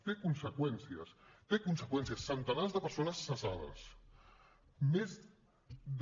té conseqüències té conseqüències centenars de persones cessades més de